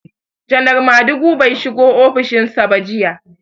Janar Madugu bai shiga ofishin sa ba jiya.